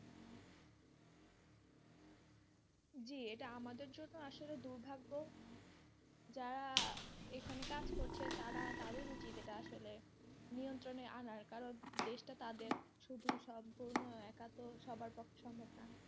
জি এটা আমাদের জন্যে আসলে দুর্ভাগ্য যারা এখানে কাজ করছে তারা তাদের উচিৎ এটা আসলে নিয়ন্ত্রনে আনার কারন দেশটা তাদের শুধু সম্পূর্ণ একা তো সবার পক্ষে সম্ভব না।